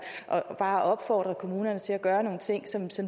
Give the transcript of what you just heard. at opfordre kommunerne til at gøre nogle ting som